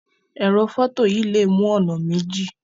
Ẹrọ fọto yìí lè mú ònà méjì.